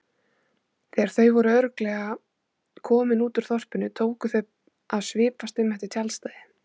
Þegar þau voru örugglega komin út úr þorpinu tóku þau að svipast um eftir tjaldstæði.